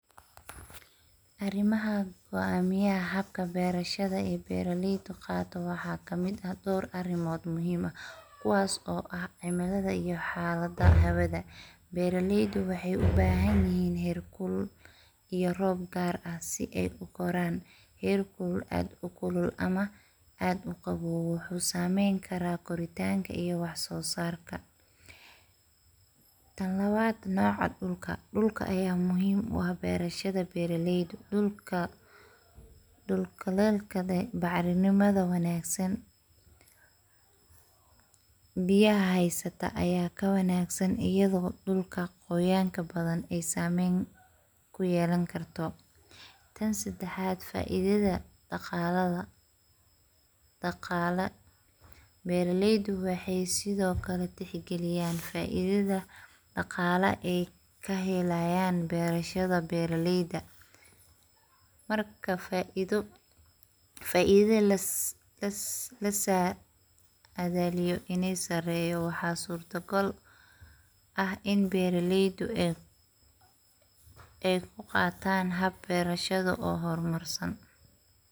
Arimaha goamiyaha habka berashada ay beraleydu qado waxa kamid ah dor arimod oo muhim ah kuwaas o ah cimilada iyo xalada hawada. Beraleydu waxay u bahan yihin xeer kulul iyo rob gaar ah si ay u koraan , herku aad u kulul ama aad u qawow wuxu sameyn karaa koritanka iyo wax sosarka. Tan labaad, nocaa dhulka, dhulka aya muhim u ah berashada beraleydu dhulka ,dhul kuleylka dee bacrinimada wanagsan biyaha heysata aya ka wanagsan iaydoo dhulka qoyanka badan ay sameyn kuyelan karto. Tan sedaxaad, faiidada dhaqaaladha, dhaqaala beraleydu waxay sidho kale texgaliyan faiidada dhaqaale ay kahelayaan berashada beraleyda marka faiido, faiidada lasadaaliyo inay sareeyo waxa surto gaal ah iin beraleydu ay ay kuqataan hab berashadu oo hormarsan.